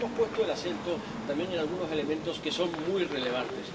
Pero hemos puesto el acento también en algunos elementos que son muy relevantes.